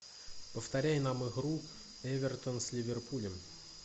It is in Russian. повторяй нам игру эвертон с ливерпулем